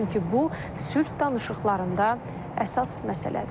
Çünki bu sülh danışıqlarında əsas məsələdir.